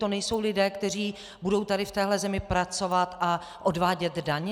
To nejsou lidé, kteří budou tady v téhle zemi pracovat a odvádět daně?